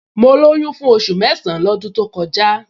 Mo lóyún fún oṣù mẹ́san-án lọ́dún to kọjá